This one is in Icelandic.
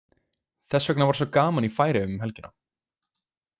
Þess vegna var svo gaman í Færeyjum um helgina.